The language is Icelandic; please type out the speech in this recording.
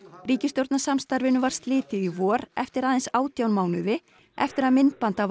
ríkisstjórnarsamstarfinu var slitið í vor eftir aðeins átján mánuði eftir að myndband af